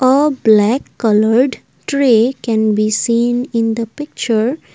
a black coloured tray can be seen in the picture.